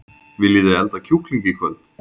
Viljiði elda kjúkling í kvöld?